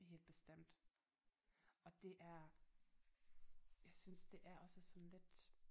Helt bestemt og det er jeg synes det er også sådan lidt